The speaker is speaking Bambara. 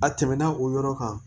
A tɛmɛna o yɔrɔ kan